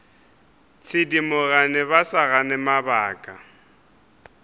thedimogane ba sa gane mabaka